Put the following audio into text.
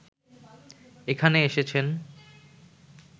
এখানে এসেছেন